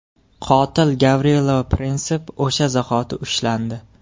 Qotil Gavrilo Prinsip o‘sha zahoti ushlandi.